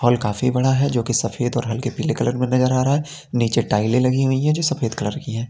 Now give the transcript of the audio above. Hall काफी बड़ा है जो की सफेद और हल्के पीले कलर में नजर आ रहा है नीचे टाइले लगी हुई है जो सफेद कलर की है।